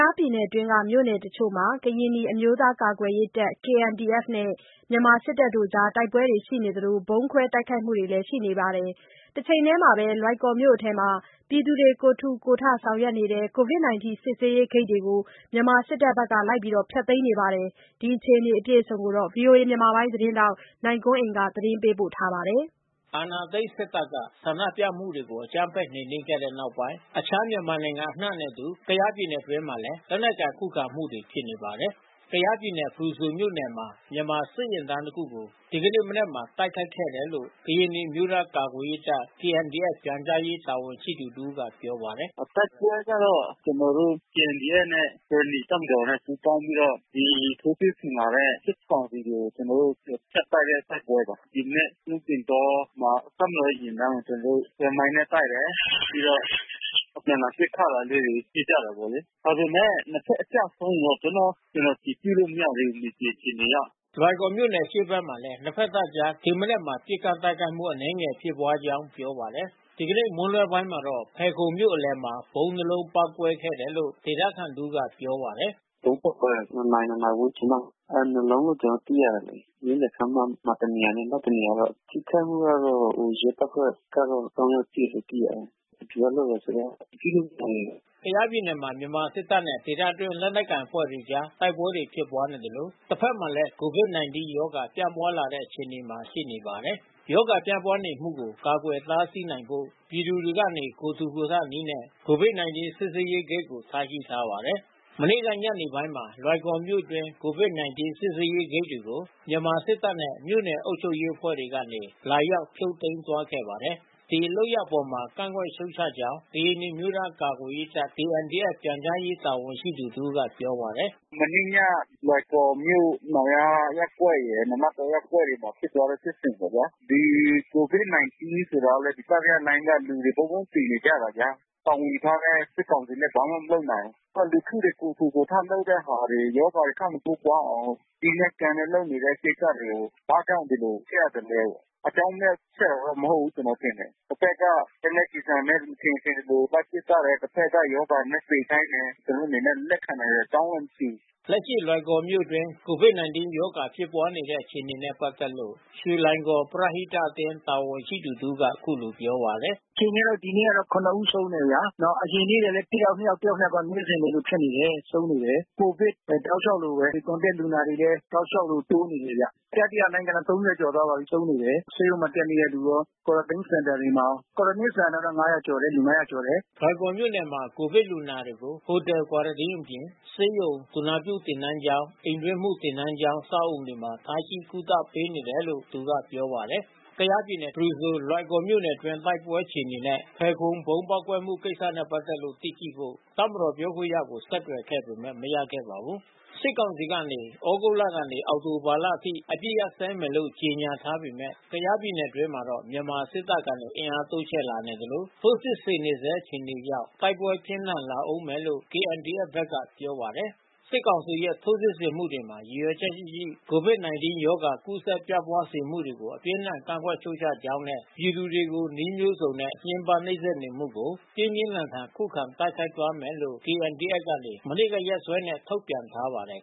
ားပြည်နယ်တွင်း မြို့နယ်တချို့မှာ ကရင်နီအမျိုးသားကာကွယ်ရေးတပ် KNDF နဲ့ မြန်မာစစ်တပ်အကြား တိုက်ပွဲတွေရှိနေသလို ဗုံးခွဲတိုက်ခိုက်မှုတွေလည်းရှိနေပါတယ်။ တချိန်တည်းမှာတော့ လွိုင်ကော်မြို့အတွင်း ပြည်သူတွေကိုယ်ထူကိုယ်ထ ဆောင်ရွက်နေတဲ့ Covid19 စစ်ဆေးရေးဂိတ်တွေကို မြန်မာစစ်တပ်က ဖျက်သိမ်းနေပါတယ်။ ဒီအခြေအနေတွေကို ဗွီအိုအေ သတင်းထောက် နိုင်ကွန်းအိန်ကနေပြောပြပေးမှာပါ။ အာဏာသိမ်းစစ်တပ်က ဆန္ဒပြမှုတွေကို အကြမ်းဖက်နှိမ်နင်းခဲ့တဲ့နောက်ပိုင်း အခြားမြန်မာနိုင်ငံအနှံနဲ့အတူ ကယားပြည်နယ်တွင်းမှာလည်း လက်နက်ကိုင်ခုခံမှုတွေ ဖြစ်နေပါတယ်။ ကယားပြည်နယ်ဖရူဆိုမြို့နယ်မှာ မြန်မာစစ်ယာဉ်တန်းတခုကို ဒီနေ့မနက်မှာ တိုက်ခိုက်ခဲ့တယ်လို့ ကရင်နီအမျိုးသား ကာကွယ် ရေးတပ် ပြန်ကြားရေးတာဝန်ရှိသူတဦးကပြောပါတယ်။ “တိုက်ပွဲကတော့ ကျွန်တော်တို့KNDFနဲ့ ကရင်နီတပ်မတော်နဲ့ပူးပေါင်းပြီးတော့ ဒီထိုးစစ်ဆင်လာတဲ့စစ်ကောင်စီကို ကျွန်တော် တို့ဖြတ်တိုက်တဲ့တိုက်ပွဲပါ။ ဒီမနက် ကျွန်းပင်တောမှာ တပ်မတော်ရဲ့ယာဉ်တန်းကိုကျွန်တော်တို့ဆွဲမိုင်းနဲ့တိုက်တယ်။ ပြီးတော့ အပြန်အလှန် ပစ်ခတ် တာလေးတွေဖြစ်ကြတာပေါ့လေ။ ဒါပေမဲ့နှစ်ဖက်အကျဆုံးကိုတော့အတည်ပြုလို့ မရသေးဘူး မြေပြင် အခြေအနေအရ။ ” လွိုင်ကော်မြို့နယ်အရှေ့ဘက်မှာလဲ နှစ်ဖက်တပ်အကြား ဒီမနက်မှာပစ်ခတ်တိုက်ခိုက်မှုအနည်းငယ်ဖြစ်ပွါးကြောင်းပြောပါတယ်။ ဒီကနေ့မွန်းလွှဲပိုင်းမှာတော့ ဖယ်ခုံမြို့အလယ်မှာဗုံးနှစ်လုံးပေါက်ကွဲခဲ့တယ်လို့ ဒေသခံတဦးကပြောပါတယ်။ “ ဗုံးပေါက်ကွဲတာ။ နှစ်နာရီ နှစ်နာရီဝန်းကျင်လောက်မှာ။ နှစ်လုံးလို့ကျွန်တော်တို့သိရတယ်လေ။ မြို့လယ်ခန်းမမှာတနေရာ နောက်တနေရာပေါ့။ ထိခိုက်မှုကတော့ ရဲတပ်ဖွဲ့ကတော့ ယောက်ထိတယ်လို့သိရတယ်။ ဘယ်သူကလုပ်တယ်ဆိုတာ အတည်ပြုလို့မရသေးဘူး။ ” ကယားပြည်နယ်မှာ မြန်မာစစ်တပ်နဲ့ ဒေသတွင်းလက်နက်ကိုင်အဖွဲ့တွေအကြားတိုက်ပွဲတွေဖြစ်ပွါးနေသလို တဖက်မှာလဲကိုဗစ်-၁၉ ရောဂါပြန့်ပွါးလာတဲ့အခြေအနေမှာရှိနေပါတယ်။ ရောဂါပြန့်ပွါးနေမှုကို ကာကွယ်တားဆီးနိုင်ဖို့ ပြည်သူတွေကနေ ကိုယ်ထူ ကိုယ်ထနည်းနဲ့ ကိုဗစ်-၁၉ စစ်ဆေးရေးဂိတ်တွေကို ထားရှိထားပါတယ်။ မနေ့ကညနေပိုင်းမှာ လွိုင်ကော်မြို့အတွင်းကိုဗစ်-၁၉ စစ်ဆေးရေးဂိတ်တွေကို စစ်တပ်နဲ့မြို့နယ်အုပ်ချုပ်ရေး အဖွဲ့ကနေ လာ ရောက်ဖြုတ်သိမ်းသွားခဲ့ပါတယ်။ ဒီလုပ်ရပ်အပေါ်ကန့်ကွက်ရှုတ်ချကြောင်း ကရင်နီအမျိုးသားကာကွယ်ရေးတပ် ပြန်ကြားရေး တာဝန်ရှိသူ တဦးက ပြောပါတယ်။ “ မနေ့ည လွိုင်ကော်မြို့နောင်ယားရပ်ကွက်ရယ် နာနတ်တောရပ်ကွက်တွေမှာဖြစ်ပွါးတဲ့ ဖြစ်စဉ်ပေါ့ဗျာ။ ဒီကိုဗစ်-၁၉ဆိုတာကလဲ တတိယလှိုင်းက လူတွေတဘုံးဘုံးသေနေကြတယ်ဗျာ။ တာဝန်ယူထားတဲ့စစ်ကောင်စီလဲ ဘာမှမလုပ်နိုင်ဘူး။ နောက်လူထု တွေကိုယ်ထူကိုယ်ထလုပ်တဲ့ဟာတွေ ရောဂါတွေထပ်မတိုးပွါးအောင် စည်းမဲ့ကမ်းမဲ့လုပ်နေတဲ့ကိစ္စတွေကို ဘာကြောင့်ဒီလို ဖျက် ရသလဲပေါ့။ အကြောင်းမဲ့သက်သက်မဟုတ်ဘူးကျွန်တော်ထင်တယ်။ တဖက်ကလက်နက်ကျည်ဆံနဲ့ မထင်ရင်မထင်သလို လိုက် ပစ်သတ်တယ်။ တဖက်ကရောဂါနဲ့သေခိုင်းတယ်။ ကျွန်တော်တို့အနေနဲ့လက်ခံနိုင်စရာအကြောင်းမှမရှိဘူး။” လက်ရှိလွိုင်ကော်မြို့နယ်အတွင်း ကိုဗစ်-၁၉ ရောဂါဖြစ်ပွါးနေတဲ့အခြေအနေနဲ့ပက်သက်လို့ ရွှေလွိုင်ကော်ပရဟိတအသင်း တာဝန်ရှိသူတဦးကအခုလိုပြောပါတယ်။ “ အခြေအနေကတော့ ဒီနေ့ကတော့ ဦးဆုံးတယ်ဗျာ။ အရင်နေ့ကလဲ တယောက်နှစ်ယောက်နေ့စဉ်လိုလိုဖြစ်နေတယ်။ ဆုံးနေတယ်။ ကိုဗစ်တောက်လျှောက်လိုဘဲ။ ဒီContact လူနာတွေလဲ တောက်လျှောက်လိုတိုးနေတယ်ဗျ။ တတိယလှိုင်းကျတော့ ကျော်သွားပါပြီးဆုံးနေတယ်။ ဆေးရုံမှာတက်နေတဲ့သူရာ Quarantine စင်တာတွေမှာရော။ Quarantineစင်တာတွေမှာက လူ ကျော်တယ်။ ” လွိုင်ကော်မြို့နယ်မှာ ကိုဗစ်လူနာတွေကို Hotel Quarantine အပြင်ဆေးရုံ သူနာပြုသင်တန်းကျောင်း အိမ်တွင်းမှုသင်တန်း ကျောင်း အဆောက်အဦတွေမှာထားရှိကုသပေးနေတယ်လို့သူကပြောပါတယ်။ ကယားပြည်နယ်ဖရူဆိုလွိုင်ကော်မြို့နယ်အတွင်းတိုက်ပွဲအခြေအနေနဲ့ ဖယ်ခုံဗုံးပေါက်ကွဲတဲ့ကိစ္စနဲ့ပက်သက်လို့ သိရှိဖို့ တပ်မတော်ပြောခွင့်ရကိုဆက်သွယ်ခဲ့ ပေမဲ့ မရခဲ့ပါဘူး။ စစ်ကောင်စီကနေ ဩဂုတ်ကနေ အောက်တိုဘာလအထိ အပစ်ခတ်ရပ်စဲမယ်လို့ ကြေညာထားပေမယ့် ကယားပြည်နယ် အတွင်းမှာတော့ မြန်မာစစ်တပ်ကနေအင်အားတိုးချဲ့လာနေသလို ထိုးစစ် ဆင်နေဆဲအခြေအနေကြောင့် တိုက်ပွဲပြင်းထန် လာဦးမယ်လို့ ဘက်ကပြောပါတယ်။ စစ်ကောင်စီရဲ့ ထိုးစစ်ဆင်မှုတွေမှာ ရည်ရွယ်ချက်ရှိရှိ ကိုဗစ်-၁၉ ရောဂါ ကူးစက်ပြန့်ပွားစေမှုတွေကို အပြင်းအထန် ကန့်ကွက် ရှုတ်ချကြောင်းနဲ့ ပြည်သူတွေကို နည်းမျိုးစုံနဲ့ ညှဉ်းပန်းနှိပ်စက်နေမှုတွေကို ပြင်းပြင်းထန်ထန် ခုခံတိုက်ခိုက်သွားမယ်လို့ KNDF က မနေ့ကရက်စွဲနဲ့ထုတ်ပြန်ထားပါတယ်